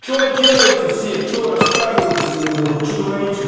что делаете все что рассказывайте мне на хуй что творите